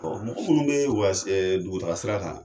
Ɔ mɔgɔ mlnrun bɛ dugu taa sira kan.